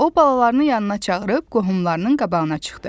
O balalarını yanına çağırıb qohumlarının qabağına çıxdı.